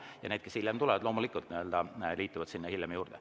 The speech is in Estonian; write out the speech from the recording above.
Ja need, kes tulevad hiljem, loomulikult liituvad hiljem sinna juurde.